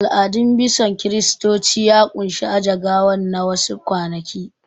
Al'adun bison Kiristoci ya ƙunshi aje gawan na wa su kwanaki